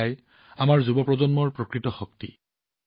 এয়াই আমাৰ যুৱ প্ৰজন্মৰ প্ৰকৃত শক্তি